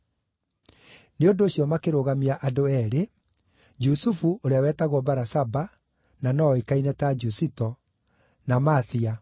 Nĩ ũndũ ũcio makĩrũgamia andũ eerĩ, Jusufu ũrĩa wetagwo Barasaba (na no oĩkaine ta Jusito), na Mathia.